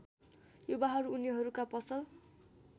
युवाहरू उनीहरूका पसल